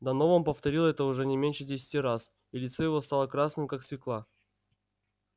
донован повторил это уже не меньше десяти раз и лицо его стало красным как свёкла